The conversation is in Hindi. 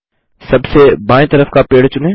सबसे बाएँ तरफ का पेड़ चुनें